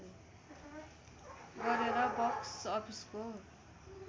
गरेर बक्स अफिसको